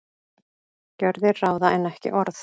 Gjörðir ráða en ekki orð